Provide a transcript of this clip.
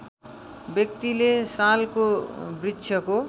व्यक्तिले सालको वृक्षको